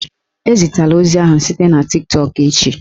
Ezitela ozi ahụ site na Tiktọk echi!